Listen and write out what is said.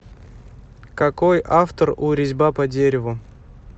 какой автор у резьба по дереву